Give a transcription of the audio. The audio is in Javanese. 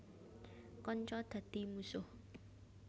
Kanca dadi mungsuh